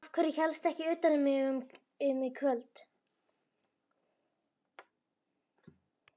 Af hverju hélstu ekki utan um mig í kvöld?